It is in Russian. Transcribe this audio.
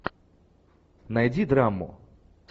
найди драму